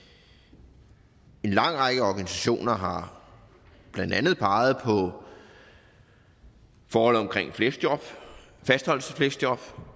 en lang række organisationer har blandt andet peget på forholdet omkring fleksjob fastholdelsesfleksjob